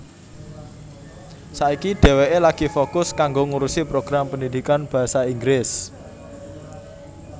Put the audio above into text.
Saiki dheweké lagi fokus kanggo ngurusi program pendidikan basa Inggris